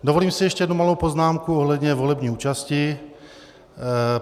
Dovolím si ještě jednu malou poznámku ohledně volební účasti.